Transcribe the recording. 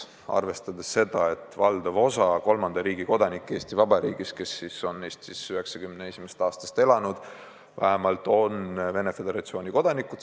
Valdav osa kolmanda riigi kodanikke, kes on Eestis vähemalt 1991. aastast elanud, on Venemaa Föderatsiooni kodanikud.